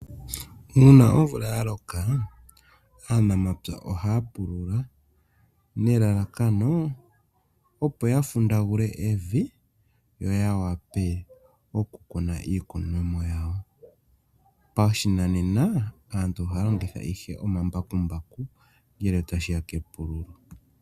Uuna omvula ya loka, aanamapya ohaa pulula, nelalakano, opo ya fundagule evi, yo ya wape okukuna iikunomwa yawo. Pashinanena, aantu ohaa longitha ihe omambakumbaku ngele tashi ya kepululo.